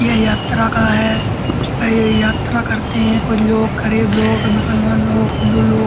ये यात्रा का है। यात्रा करते हैं कुछ लोग गरीब लोग मुसलमान लोग हिन्दू लोग --